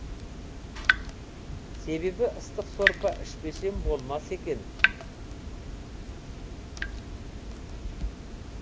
себебі ыстық сорпа ішпесем болмас екен